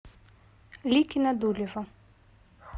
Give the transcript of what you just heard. ликино дулево